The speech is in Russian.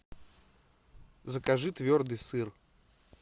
закажи твердый сыр